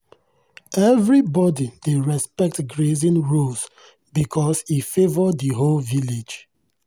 we dey pass our grazing stories from one generation to another during evening gist for fireside with family.